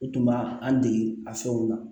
U tun b'a an dege a fɛnw na